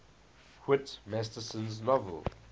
whit masterson's novel